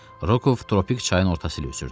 Roku tropik çayın ortası ilə üzürdü.